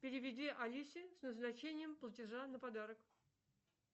переведи алисе с назначением платежа на подарок